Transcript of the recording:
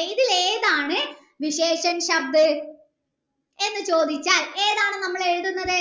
ഏതാ ഇതിലേതാണ് എന്ന് ചോദിച്ചാൽ എന്താണ് നമ്മൾ എഴുതുന്നത്